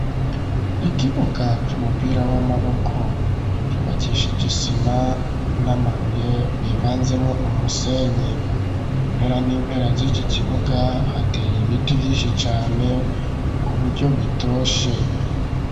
Ikibuga c'umupira w'amaboko cubakisha isima n'amabuye bivanzemwo umusenyi impera n'impera z'iki kibuga hateye ibiti vy'inshi cane ku buryo bitoshe.